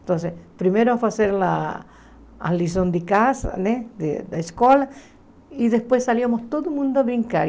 Então, primeiro foi fazer a a lição de casa, né da da escola, e depois salíamos todo mundo a brincar.